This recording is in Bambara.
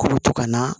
K'u bɛ to ka na